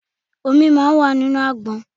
Omi máa ń wà nínú àgbọn.